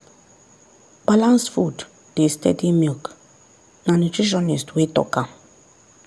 balanced food dey steady milk na nutritionist wey talk am.